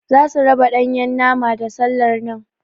Zasu raba Ɗanyan nama da sallar nan.